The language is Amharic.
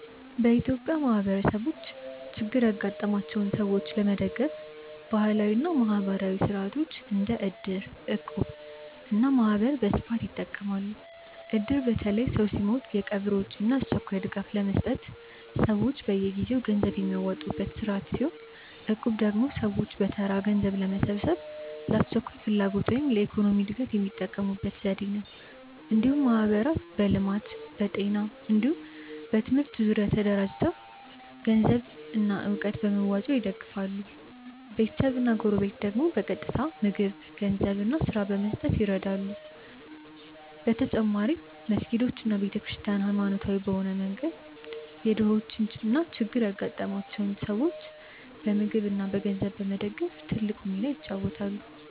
በኢትዮጵያ ማህበረሰቦች ችግር ያጋጠማቸውን ሰዎች ለመደገፍ ባህላዊ እና ማህበራዊ ሥርዓቶች እንደ እድር፣ እቁብ እና ማህበር በስፋት ይጠቀማሉ። እድር በተለይ ሰው ሲሞት የቀብር ወጪ እና አስቸኳይ ድጋፍ ለመስጠት ሰዎች በየጊዜው ገንዘብ የሚያዋጡበት ስርዓት ሲሆን፣ እቁብ ደግሞ ሰዎች በተራ ገንዘብ በመሰብሰብ ለአስቸኳይ ፍላጎት ወይም ለኢኮኖሚ እድገት የሚጠቀሙበት ዘዴ ነው። እንዲሁም ማህበራት በልማት፣ በጤና ወይም በትምህርት ዙሪያ ተደራጅተው ገንዘብና እውቀት በመዋጮ ይደግፋሉ፤ ቤተሰብና ጎረቤት ደግሞ በቀጥታ ምግብ፣ ገንዘብ እና ስራ በመስጠት ይረዱ። በተጨማሪም መስጊዶች እና ቤተ ክርስቲያናት በሃይማኖታዊ መንገድ የድሆችን እና ችግር ያጋጠማቸውን ሰዎች በምግብ እና በገንዘብ በመደገፍ ትልቅ ሚና ይጫወታሉ።